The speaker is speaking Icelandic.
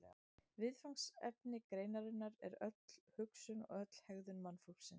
viðfangsefni greinarinnar er öll hugsun og öll hegðun mannfólksins